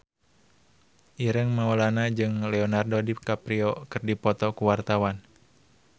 Ireng Maulana jeung Leonardo DiCaprio keur dipoto ku wartawan